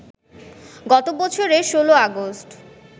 গত বছরের১৬ অগাস্ট